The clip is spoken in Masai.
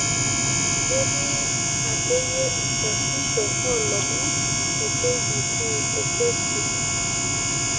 ketii akeye esasisho olomon le k. b. c te facebook